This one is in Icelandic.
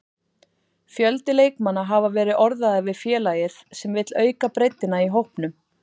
Fjöldi leikmanna hafa verið orðaðir við félagið sem vill auka breiddina í hópnum.